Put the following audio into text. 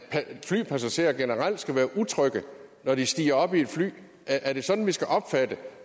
flypassagerer generelt skal være utrygge når de stiger op i et fly er det sådan vi skal opfatte